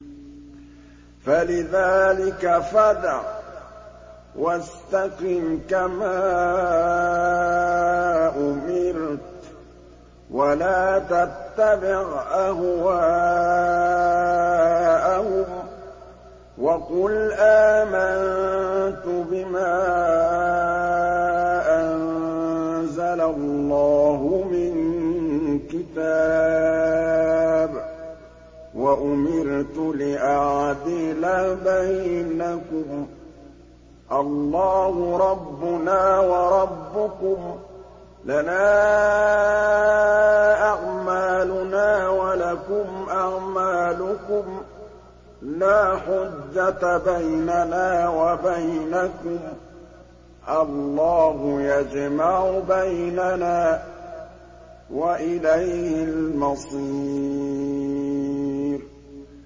فَلِذَٰلِكَ فَادْعُ ۖ وَاسْتَقِمْ كَمَا أُمِرْتَ ۖ وَلَا تَتَّبِعْ أَهْوَاءَهُمْ ۖ وَقُلْ آمَنتُ بِمَا أَنزَلَ اللَّهُ مِن كِتَابٍ ۖ وَأُمِرْتُ لِأَعْدِلَ بَيْنَكُمُ ۖ اللَّهُ رَبُّنَا وَرَبُّكُمْ ۖ لَنَا أَعْمَالُنَا وَلَكُمْ أَعْمَالُكُمْ ۖ لَا حُجَّةَ بَيْنَنَا وَبَيْنَكُمُ ۖ اللَّهُ يَجْمَعُ بَيْنَنَا ۖ وَإِلَيْهِ الْمَصِيرُ